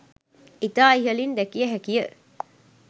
ඉතා ඉහළින් දැකිය හැකිය